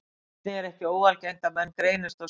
Einnig er ekki óalgengt að menn greinist á sjötugsaldri.